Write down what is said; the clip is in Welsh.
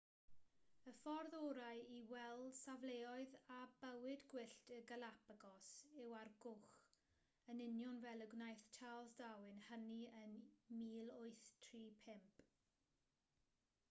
y ffordd orau i weld safleoedd a bywyd gwyllt y galapagos yw ar gwch yn union fel y gwnaeth charles darwin hynny yn 1835